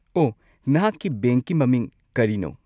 ꯑꯣ, ꯅꯍꯥꯛꯀꯤ ꯕꯦꯡꯛꯀꯤ ꯃꯃꯤꯡ ꯀꯔꯤꯅꯣ?